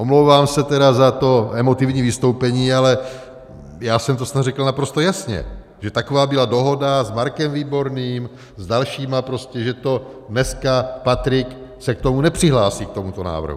Omlouvám se tedy za to emotivní vystoupení, ale já jsem to snad řekl naprosto jasně, že taková byla dohoda s Markem Výborným, s dalšíma prostě, že to dneska Patrik se k tomu nepřihlásí k tomuto návrhu.